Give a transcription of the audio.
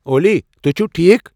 اولی، تُہۍ چِھوٕ ٹھیک ؟